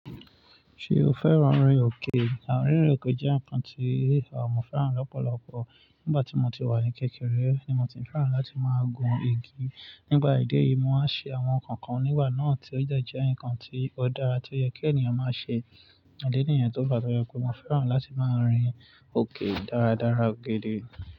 Ṣé o fẹ́ran rin òkè? Àrin rin òkè jẹ́ ǹkan tí àwọn ọmọ fẹ́ran lọ́pọ̀lọpọ̀. Nígbà tí mo ti wà ní kékeré ni mo ti ń fẹ́ran láti máa gun igi. Nípà ìdí èyí, mo máa ń ṣe àwọn ǹkan kan nígbà náà tí ó dẹ́ jẹ́ ǹkan tí ó dára tí ó yẹ kí ènìyàn máa ṣe. Idi nìyẹn tó fa tọ jẹ pé mo fẹ́ran láti máa rin òkè dáradára ó gidi.